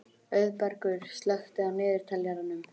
Auðbergur, slökktu á niðurteljaranum.